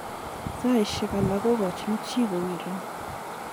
Saisheke alak kokachin che kowiren.